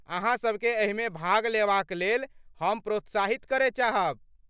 अहाँ सबकेँ एहिमे भाग लेबाक लेल हम प्रोत्साहित करय चाहब।